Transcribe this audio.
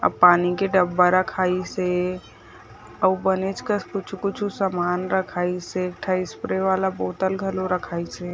पानी के डब्बा रखाईस हे अउ बनेच कस कुछो-कुछो सामान रखाईस हे एक ठक स्प्रे वाला बोतल घलो रखाईस हे।